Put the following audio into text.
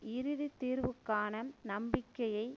இறுதி தீர்வுக்கான நம்பிக்கையை